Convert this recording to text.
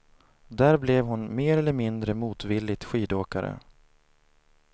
Där blev hon, mer eller mindre motvilligt, skidåkare.